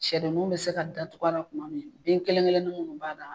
Siyɛdenninw bɛ se ka datugula a la kuma min den kelen kelennin minnu kun b'a la.